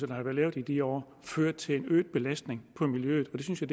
der er lavet i de år ført til en øget belastning af miljøet det synes jeg